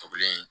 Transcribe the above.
Tugulen